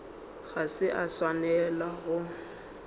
ga se a swanela go